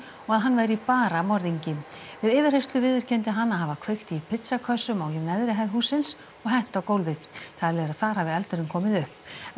og að hann væri bara morðingi við yfirheyrslu viðurkenndi hann að hafa kveikt í pizzakössum á neðri hæð hússins og hent á gólfið talið er að þar hafi eldurinn komið upp